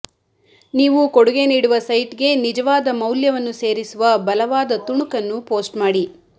ನೀವು ಕೊಡುಗೆ ನೀಡುವ ಸೈಟ್ಗೆ ನಿಜವಾದ ಮೌಲ್ಯವನ್ನು ಸೇರಿಸುವ ಬಲವಾದ ತುಣುಕನ್ನು ಪೋಸ್ಟ್ ಮಾಡಿ